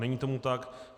Není tomu tak.